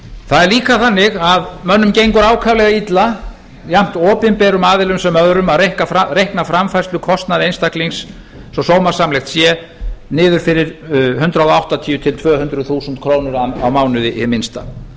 það er líka þannig að mönnum gengur ákaflega illa jafnt opinberum aðilum sem öðrum að reikna framfærslukostnað einstaklings svo sómasamlegt sé niður fyrir hundrað áttatíu til tvö hundruð þúsund krónur á mánuði hið minnsta